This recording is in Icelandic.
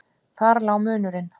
Þar lá munurinn.